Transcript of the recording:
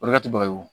O de ka to ba ye